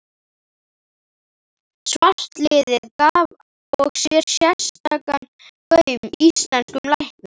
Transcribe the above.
Svartliðið gaf og sérstakan gaum íslenskum læknum.